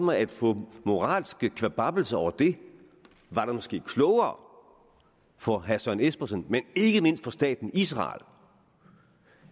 at få moralske kvababbelser over det var det måske klogere for herre søren espersen men ikke mindst for staten israel